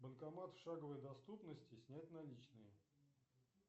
банкомат в шаговой доступности снять наличные